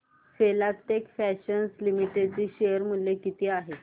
Filatex Fashions Limited चे share मूल्य किती आहे